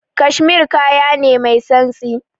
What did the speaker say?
Cashmere kaya ne mai santsi.